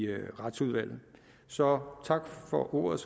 retsudvalget så tak for ordet